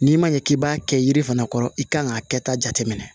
N'i ma ɲɛ k'i b'a kɛ yiri fana kɔrɔ i kan k'a kɛta jate minɛ